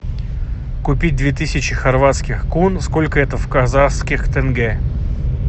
купить две тысячи хорватских кун сколько это в казахских тенге